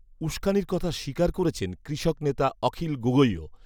উসকানির কথা স্বীকার করেছেন কৃষক নেতা অখিল গগৈও